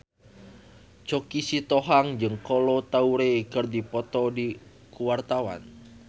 Choky Sitohang jeung Kolo Taure keur dipoto ku wartawan